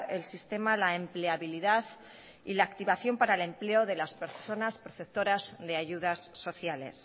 el sistema la empleabilidad y la activación para el empleo de las personas receptoras de ayudas sociales